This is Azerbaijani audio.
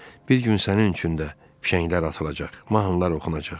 Bir gün sənin üçün də fişənglər atılacaq, mahnılar oxunacaq.